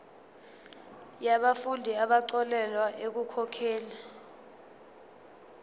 yabafundi abaxolelwa ekukhokheni